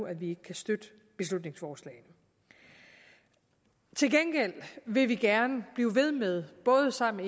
at vi ikke kan støtte beslutningsforslagene til gengæld vil vi gerne blive ved med både sammen